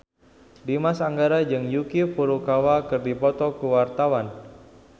Dimas Anggara jeung Yuki Furukawa keur dipoto ku wartawan